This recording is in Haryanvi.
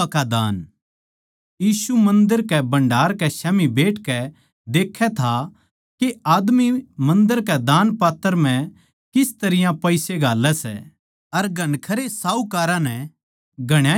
यीशु मन्दर कै भण्डार कै स्याम्ही बैठकै देक्खै था के आदमी मन्दर कै दानपात्र म्ह किस तरियां पिसे घालैं सै अर घणखरे साहूकारां नै घणाए कुछ घाल्या